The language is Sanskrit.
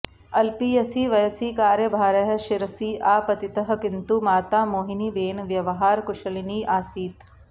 अल्पीयसि वयसि कार्यभारः शिरसि आपतितः किन्तु माता मोहिनीबेन व्यवहारकुशलिनी आसीत्